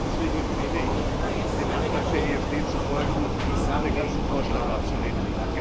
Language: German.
Deswegen empfehle ich, dem Antrag der EFD zu folgen und den ganzen Vorschlag abzulehnen.